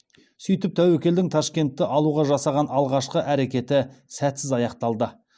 сөйтіп тәуекелдің ташкентті алуға жасаған алғашқы әрекеті сәтсіз аяқталды